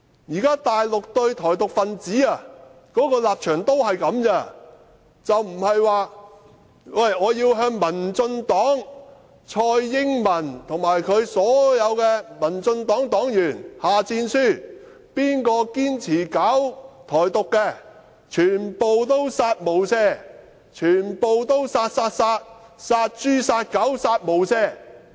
"現時大陸對台獨分子的立場都只是這樣，不是說要對民進黨蔡英文及她所有黨員下戰書，誰堅持搞台獨，全部都"殺無赦"，全部都"殺，殺，殺"，殺豬、殺狗，"殺無赦"。